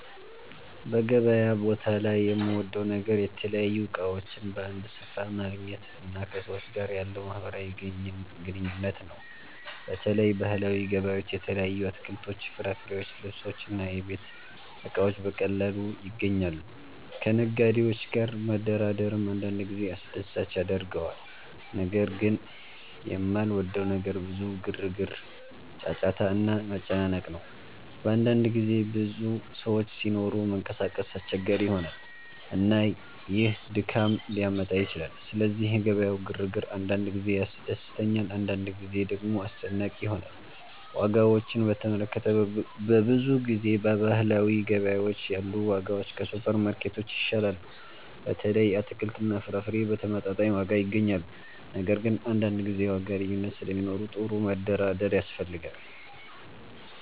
በገበያ ቦታ ላይ የምወደው ነገር የተለያዩ እቃዎችን በአንድ ስፍራ ማግኘት እና ከሰዎች ጋር ያለው ማህበራዊ ግንኙነት ነው። በተለይ ባህላዊ ገበያዎች የተለያዩ አትክልቶች፣ ፍራፍሬዎች፣ ልብሶች እና የቤት እቃዎች በቀላሉ ይገኛሉ። ከነጋዴዎች ጋር መደራደርም አንዳንድ ጊዜ አስደሳች ያደርገዋል። ነገር ግን የማልወደው ነገር ብዙ ግርግር፣ ጫጫታ እና መጨናነቅ ነው። በአንዳንድ ጊዜ ብዙ ሰዎች ሲኖሩ መንቀሳቀስ አስቸጋሪ ይሆናል፣ እና ይህ ድካም ሊያመጣ ይችላል። ስለዚህ የገበያው ግርግር አንዳንድ ጊዜ ያስደስተኛል፣ አንዳንድ ጊዜ ደግሞ አስጨናቂ ይሆናል። ዋጋዎችን በተመለከተ፣ በብዙ ጊዜ በባህላዊ ገበያዎች ያሉ ዋጋዎች ከሱፐርማርኬቶች ይሻላሉ። በተለይ አትክልትና ፍራፍሬ በተመጣጣኝ ዋጋ ይገኛሉ። ነገር ግን አንዳንድ ጊዜ የዋጋ ልዩነት ስለሚኖር ጥሩ መደራደር ያስፈልጋል።